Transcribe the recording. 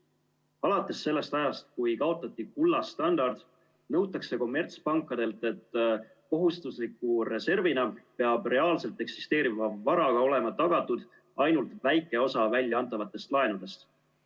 Alates sellest ajast, kui kaotati kullastandard, nõutakse kommertspankadelt, et kohustusliku reservina peab reaalselt eksisteeriva varaga olema tagatud ainult väike osa väljaantavatest laenudest.